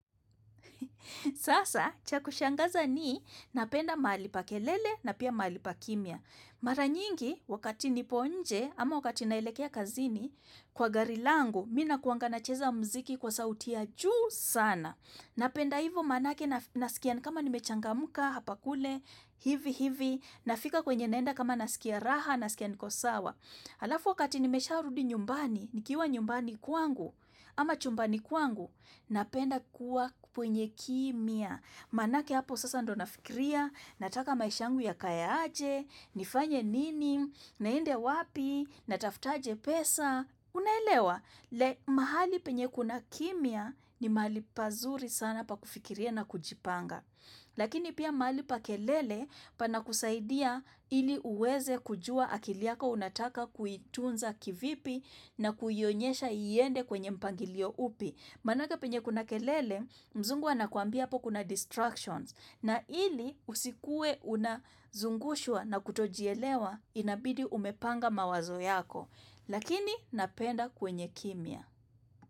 Sasa, cha kushangaza ni napenda mahali pa kelele na pia mahali pa kimya. Mara nyingi, wakati nipo nje ama wakati naelekea kazini kwa gari langu, mi nakuanga nacheza mziki kwa sauti ya juu sana. Napenda hivo manake nasikia ni kama nimechangamka, hapa kule, hivi hivi, nafika kwenye naenda kama nasikia raha, nasikia niko sawa. Halafu wakati nimesharudi nyumbani, nikiwa nyumbani kwangu, ama chumbani kwangu, napenda kuwa kwenye kimya. Manake hapo sasa ndio nafikiria, nataka maishangu yakaye aje, nifanye nini, niende wapi, natafutaje pesa. Unaelewa, like mahali penye kuna kimya ni mahali pazuri sana pa kufikiria na kujipanga. Lakini pia mahali pa kelele pana kusaidia ili uweze kujua akili yako unataka kuitunza kivipi na kuiyonyesha iende kwenye mpangilio upi. Manake penye kuna kelele, mzungu anakuambia apo kuna distractions. Na ili usikue unazungushwa na kutojielewa, inabidi umepanga mawazo yako. Lakini napenda kwenye kimya.